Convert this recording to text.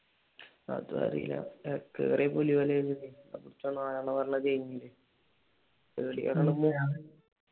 അതും അറിയില്ല അയാൾ കേറിയത് പുലിവാലായല്ലോ ദൈവമേ